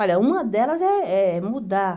Olha, uma delas eh é mudar.